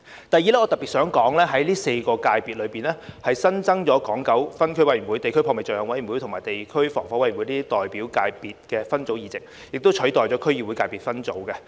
第二，我特別想說，在第四界別，新增了港九分區委員會、地區撲滅罪行委員會及地區防火委員會代表界別分組議席，以取代區議會界別分組。